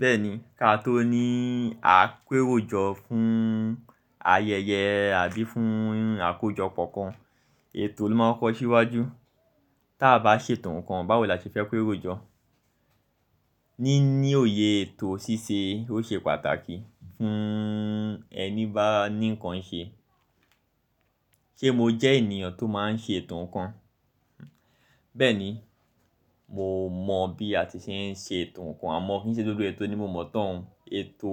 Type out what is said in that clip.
Bẹ́ẹ̀ni, ká tó ní àpéròjọ fún ayẹyẹ àbí fún àkójọpọ̀ kan, ètò ló máa ń kọko síwájú. Tí a bá ṣètò nǹkan, báwo la ṣe fẹ́ ko eròjọ? Níní òye ètò ṣíṣe ó ṣe pàtàkì fún ẹni bá ní nǹkan ṣe. Ṣé mo jẹ́ ènìyàn tó máa ń ṣètò nǹkan? Bẹ́ẹ̀ni, mo mọ̀ bí a ti ṣe ń ṣètò nǹkan, àmọ́ ó ki ṣe gbogbo ètò ni mo mọ̀ tán. Ètò